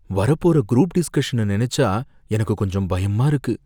வரப் போற குரூப் டிஸ்கஷன நினைச்சா எனக்குக் கொஞ்சம் பயமா இருக்கு.